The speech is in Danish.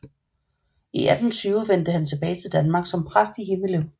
I 1820 vendte han tilbage til Danmark som præst i Himmelev